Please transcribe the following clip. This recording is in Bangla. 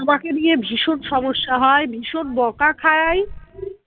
আমাকে নিয়ে ভীষণ সমস্যা হয় ভীষণ বকা খাই